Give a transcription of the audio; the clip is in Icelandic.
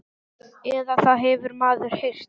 Eða það hefur maður heyrt.